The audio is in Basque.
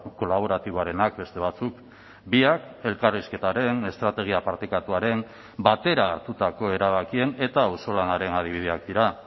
kolaboratiboarenak beste batzuk biak elkarrizketaren estrategia partekatuaren batera hartutako erabakien eta auzolanaren adibideak dira